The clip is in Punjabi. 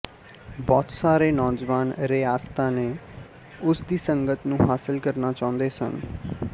ਬਹੁਤ ਸਾਰੇ ਨੌਜਵਾਨ ਰਿਆਸਤਾਂ ਨੇ ਉਸ ਦੀ ਸੰਗਤ ਨੂੰ ਹਾਸਿਲ ਕਰਨਾ ਚਾਹੁੰਦੇ ਸਨ